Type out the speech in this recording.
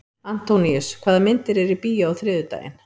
Antóníus, hvaða myndir eru í bíó á þriðjudaginn?